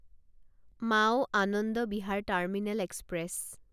Mau Anand Vihar terminal express